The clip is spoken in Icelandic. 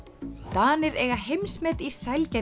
Danir eiga heimsmet í